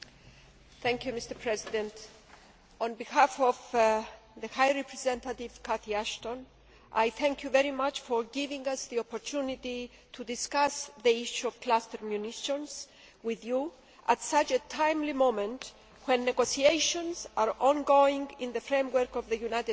Mr President, on behalf of the High Representative, Catherine Ashton, I thank you very much for giving us the opportunity to discuss the issue of cluster munitions with you at such a timely moment when negotiations are ongoing in the framework of the United Nations